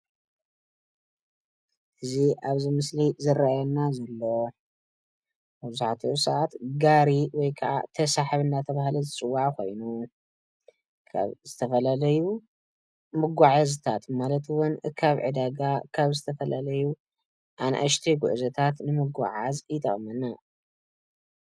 እዚ ኣብዚ ምስሊ ዝረአየና ዘሎ መብዛሕትኡ ሰዓት ጋሪ ወይከዓ ተሰሓቢ እናተባህለ ዝፅዋዕ ኾይኑ ካብ ዝተፈላለዩ መጓዓዝታት ማለት ውን ካብ ዕዳጋ ካብ ዝተፈላለዩ ኣናእሽተይ ጉዕዞታት ንምጓዓዝ ይጠቕመና፡፡